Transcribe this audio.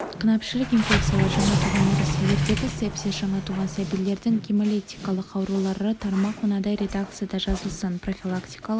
қынапішілік инфекциялар жаңа туған нәрестелердегі сепсис жаңа туған сәбилердің гемолитиялық аурулары тармақ мынадай редакцияда жазылсын профилактикалық